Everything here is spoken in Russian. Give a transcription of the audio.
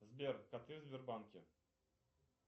сбер коты в сбербанке